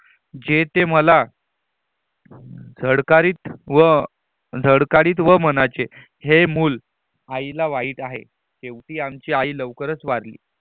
जे ते मला धड़कतीत व धड़कारित व म्हणचे ही मूल आईला वाईट आहे शेवटी आमची आई लवकरच वारली